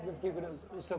É que eu fiquei curioso. O seu